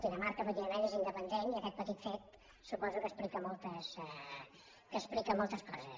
dinamarca efectivament és independent i aquest petit fet suposo que explica moltes coses